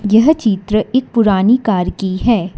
यह चित्र इक पुरानी कार की है।